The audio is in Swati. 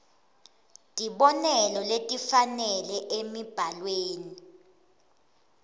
tibonelo letifanele emibhalweni